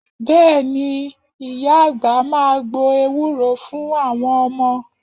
Bẹ́ẹ̀ ni, ìyá àgbà máa gbo ewúro fún àwọn ọmọ